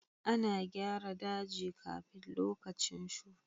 A na gyara daji kafin lokacin shuka.